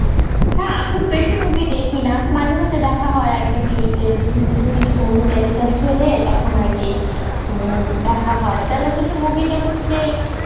না খুব বেশি movie দেখি না, মাঝে মাঝে দেখা হয় আরকি TV তে, বিশেষ বিশেষ কিছু movie telecast হইলে তখন আরকি উম দেখা হয় বেলাশেষে movie টা হচ্ছে,